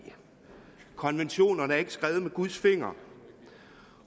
konventionerne er ikke skrevet med guds finger